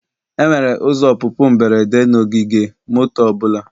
Enwere ụzọ ọpụpụ mberede na ogige moto ọ bụla.